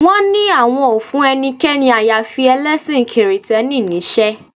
Wọ́n ní àwọn ò fún ẹnikẹ́ni àyàfi ẹlẹ́sìn kìrìtẹ́nì níṣẹ́